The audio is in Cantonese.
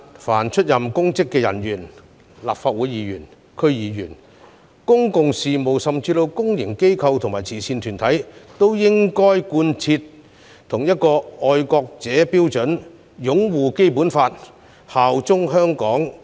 凡出任公職的人員，包括立法會議員、區議員、公共事務甚至公營機構和慈善團體的人員，均應該貫徹同一套"愛國者"標準，即擁護《基本法》及效忠香港特區。